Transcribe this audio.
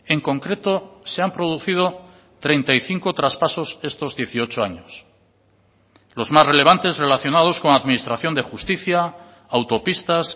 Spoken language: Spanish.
en concreto se han producido treinta y cinco traspasos estos dieciocho años los más relevantes relacionados con administración de justicia autopistas